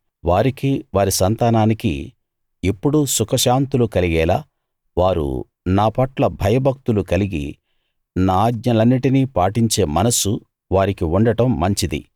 వారికీ వారి సంతానానికీ ఎప్పుడూ సుఖశాంతులు కలిగేలా వారు నాపట్ల భయభక్తులు కలిగి నా ఆజ్ఞలన్నిటిని పాటించే మనస్సు వారికి ఉండడం మంచిది